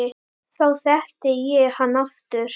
Þá þekkti ég hann aftur